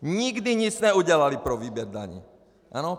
Nikdy nic neudělali pro výběr daní.